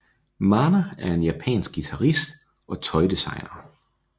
Mana er en japansk guitarist og tøjdesigner